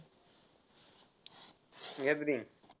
gathering.